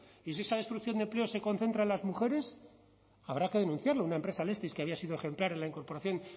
y si esa destrucción de empleo se concentra en las mujeres habrá que denunciarlo una empresa alestis que había sido ejemplar en la incorporación